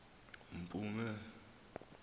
mpuma